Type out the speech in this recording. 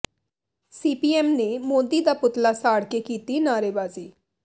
CPM ਨੇ ਮੋਦੀ ਦਾ ਪੁਤਲਾ ਸਾੜ ਕੇ ਕੀਤੀ ਨਾਅਰੇਬਾਜ਼ੀ